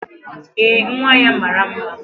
Ee, nwa ya mara mma